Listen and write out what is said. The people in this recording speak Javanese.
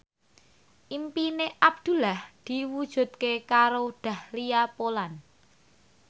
impine Abdullah diwujudke karo Dahlia Poland